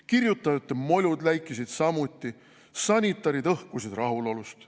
Kirjutajate molud läikisid samuti, sanitarid õhkusid rahulolust ...